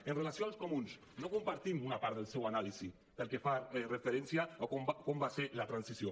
amb relació als comuns no compartim una part de la seva anàlisi pel que fa referència a com va ser la transició